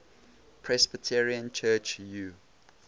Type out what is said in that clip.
presbyterian church u